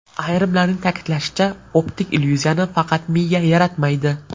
Ayrimlarning ta’kidlashicha, optik illyuziyani faqat miya yaratmaydi.